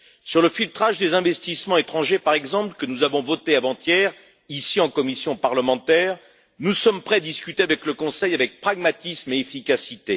Sur le filtrage des investissements étrangers, par exemple, que nous avons voté avant hier, ici, en commission parlementaire, nous sommes prêts à discuter avec le Conseil avec pragmatisme et efficacité.